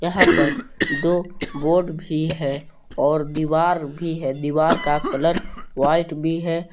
यहां पर दो बोर्ड भी है और दीवार भी है दीवार का कलर व्हाइट भी है।